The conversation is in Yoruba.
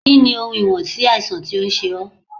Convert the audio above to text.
Kí ni ohun ìwọ̀n sí àìsàn tó ń ṣe ó?